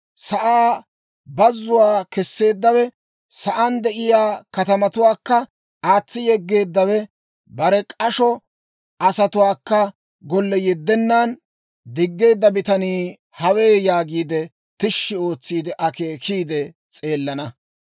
sa'aa bazzuwaa kesseeddawe, sa'aan de'iyaa katamatuwaakka aatsi yeggeeddawe, bare k'asho asatuwaakka golle yeddennan diggeedda bitanii hawe?› yaagiide tishshi ootsi akeekiide s'eelana.